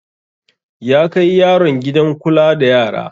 Ya kai yaron gidan kula da yara.